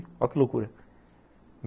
Olha que loucura.